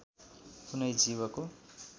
कुनै जीवको